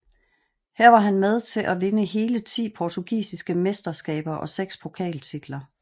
Her var han med til at vinde hele ti portugisiske mesteskaber og seks pokaltitler